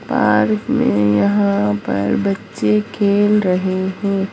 Park में यहां पर बच्चे खेल रहे हैं।